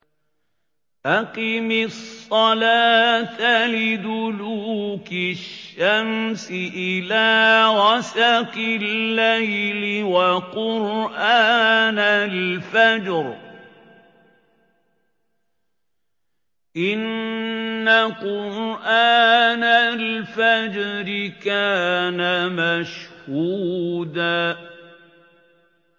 أَقِمِ الصَّلَاةَ لِدُلُوكِ الشَّمْسِ إِلَىٰ غَسَقِ اللَّيْلِ وَقُرْآنَ الْفَجْرِ ۖ إِنَّ قُرْآنَ الْفَجْرِ كَانَ مَشْهُودًا